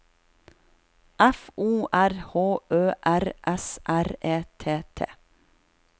F O R H Ø R S R E T T